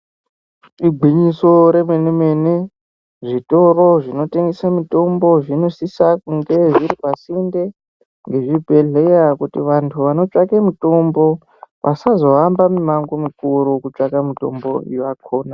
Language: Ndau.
Igwinyiso remenemene zvitoro zvinotengese mitombo zvinosise kunge zviri pasinde nezvibhehleya kuti vanhu vanotsvake mutombo vasazohambe mimango mikuru kutsvake mitombo yakona.